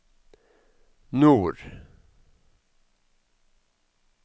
nord